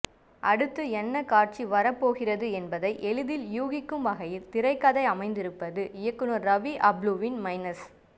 அடுத்து என்ன காட்சி வரப்போகிறது என்பதை எளிதில் யூகிக்கும் வகையில் திரைக்கதை அமைத்திருப்பது இயக்குனர் ரவி அப்புலுவின் மைனஸ்